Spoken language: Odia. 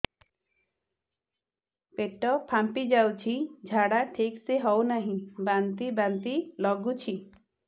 ପେଟ ଫାମ୍ପି ଯାଉଛି ଝାଡା ଠିକ ସେ ହଉନାହିଁ ବାନ୍ତି ବାନ୍ତି ଲଗୁଛି